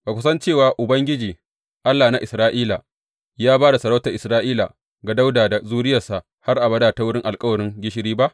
Ba ku san cewa Ubangiji, Allah na Isra’ila ya ba da sarautar Isra’ila ga Dawuda da zuriyarsa har abada ta wurin alkawarin gishiri ba?